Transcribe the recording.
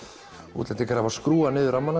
útlendingar hafa skrúfað niður rammana